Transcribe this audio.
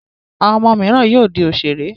Àwọn ọmọ mìíràn yóò di òṣèré.